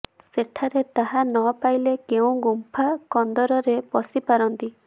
ସେଠାରେ ତାହା ନ ପାଇଲେ କେଉଁ ଗୁଂଫା କନ୍ଦରରେ ପଶି ପାରନ୍ତି